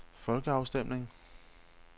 folkeafstemning